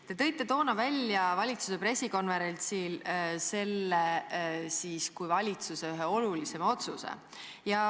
Te tõite toona valitsuse pressikonverentsil selle välja kui valitsuse ühe olulisema otsuse.